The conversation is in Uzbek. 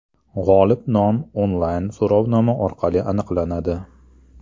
G‘olib nomi onlayn-so‘rovnoma orqali aniqlanadi.